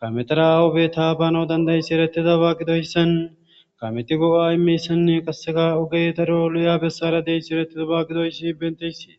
kametera awo beta bano dandayissi eretida baagidoyssan kameti go7a imeyssanne qaseka ogey daro luya bessara deyssi erettidaba gidoyssi benteyssee